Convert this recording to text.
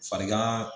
Farigan